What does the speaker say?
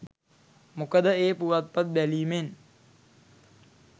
මොකද ඒ පුවත්පත් බැලීමෙන්